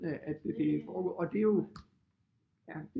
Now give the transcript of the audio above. At det er foregået og det er jo ja